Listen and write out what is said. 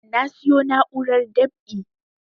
Na siyo na'urar dab'i